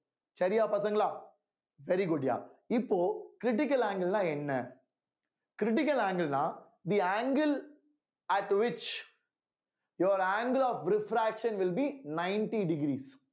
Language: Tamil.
சரியா பசங்களா very good யா இப்போ critical angle னா என்ன critical angle னா the angle at which your angle of refraction will be ninety degrees